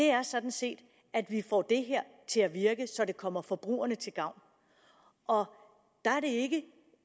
er sådan set at vi får det her til at virke så det kommer forbrugerne til gavn og der er det